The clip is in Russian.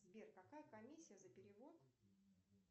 сбер какая комиссия за перевод